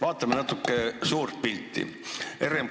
Vaatame natuke suurt pilti.